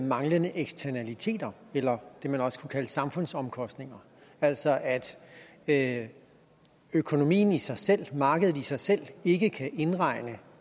manglende eksternaliteter eller det man også kunne kalde samfundsomkostninger altså at at økonomien i sig selv markedet i sig selv ikke kan indregne